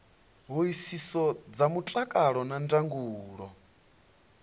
hoisiso dza mutakalo na ndangulo